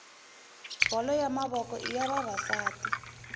bolo ya mavoko iya vavasati